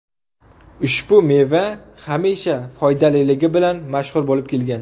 Ushbu meva hamisha foydaliligi bilan mashhur bo‘lib kelgan.